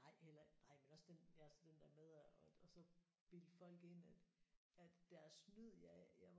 Nej eller nej men også den altså den der med at at så bilde folk ind at at deres snyd ja jeg var faktisk